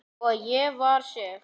Og ég var sek.